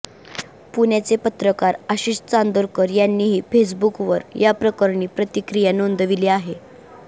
पुण्याचे पत्रकार आशिष चांदोरकर यांनीही फेसबुकवर याप्रकरणी प्रतिक्रिया नोंदविली आहे